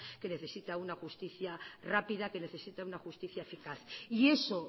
que necesita una justicia rápida que necesita una justicia eficaz y eso